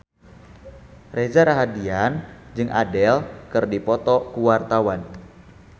Reza Rahardian jeung Adele keur dipoto ku wartawan